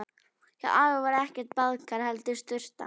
Hjá afa var ekkert baðkar, heldur sturta.